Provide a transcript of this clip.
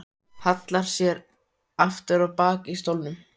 Hallar sér aftur á bak í stólnum.